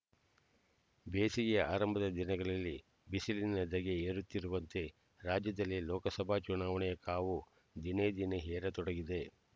ಬೇಸಿಗೆಯ ಆರಂಭದ ದಿನಗಳಲ್ಲಿ ಬಿಸಿಲಿನ ಧಗೆ ಏರುತ್ತಿರುವಂತೆ ರಾಜ್ಯದಲ್ಲಿ ಲೋಕಸಭಾ ಚುನಾವಣೆಯ ಕಾವು ದಿನೇದಿನೇ ಏರತೊಡಗಿದೆ